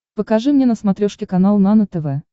покажи мне на смотрешке канал нано тв